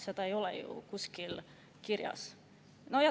Seda ei ole ju kuskil kirjas.